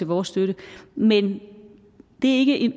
vores støtte men det er ikke et